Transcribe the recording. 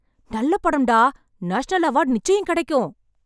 நல்ல படம் டா. நேஷனல் அவார்ட் நிச்சயம் கிடைக்கும்!